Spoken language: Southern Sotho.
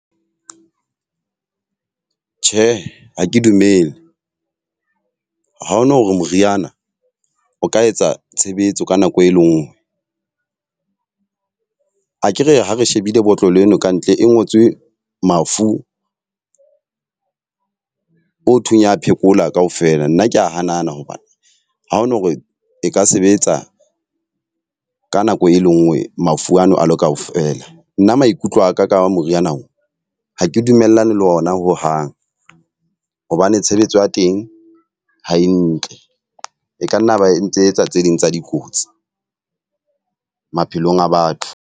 Tjhe, ha ke dumele. Ha o no re moriana o ka etsa tshebetso ka nako e le nngwe. Akere ha re shebile botlolo eno ka ntle e ngotswe mafu o thweng ya phekola ka ofela. Nna ke a hanana hobane ha o no re e ka sebetsa ka nako e le nngwe mafu ano a lo ka ofela. Nna maikutlo a ka ka moriana oo, ha ke dumellane le ona ho hang hobane tshebetso ya teng ha e ntle. E ka nna ba entse etsa tse ding tsa dikotsi maphelong a batho.